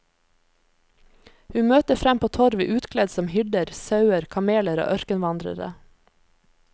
Vi møter frem på torvet utkledd som hyrder, sauer, kameler og ørkenvandrere.